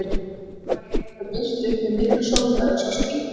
Himinn var heiður og birti upp með miklu sólfari og sást vítt yfir.